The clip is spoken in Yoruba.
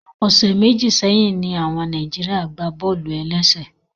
Ọsẹ méjì sẹyìn ní àwọn orílẹ̀-èdè Nàìjíríà gbá bọ́ọ̀lù-ẹlẹ́sě